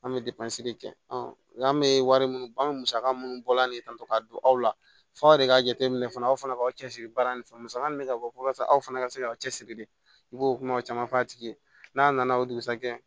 An bɛ de kɛ nka an bɛ wari minnu ban bɛ musaka minnu bɔla de sisan k'a don aw la f'aw yɛrɛ k'a jateminɛ fana aw fana k'aw cɛsiri baara nin fɛ musaka min bɛ ka bɔ walasa aw fana ka se k'aw cɛ siri de i b'o kumaw caman fɔ a tigi ye n'a nana o dugusajɛ